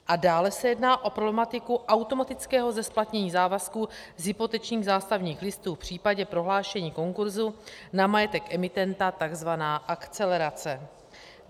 A dále se jedná o problematiku automatického zesplatnění závazků z hypotečních zástavních listů v případě prohlášení konkurzu na majetek emitenta, tzv. akcelerace.